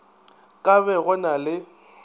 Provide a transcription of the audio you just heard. ka be go na le